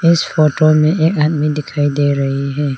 इस फोटो में एक आदमी दिखाई दे रही है।